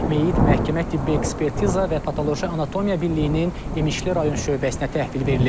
Meyit məhkəmə tibbi ekspertiza və patoloji anatomiya birliyinin İmişli rayon şöbəsinə təhvil verilib.